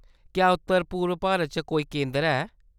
क्या उत्तर पूर्व भारत च कोई केंदर है ?